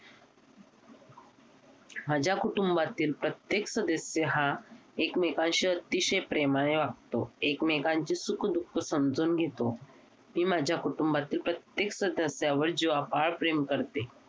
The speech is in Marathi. माझ्या कुटुंबातील प्रत्येक सदस्य हा एकमेकांशी अतिशय प्रेमाने वागतो एकमेकांची सुख दुःख समजून घेतो. मी माझ्या कुटुंबातील प्रत्येक सदस्यावर जीवापाड प्रेम करते.